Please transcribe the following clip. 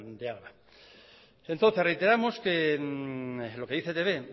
de álava entonces reiteramos lo que dice e i te be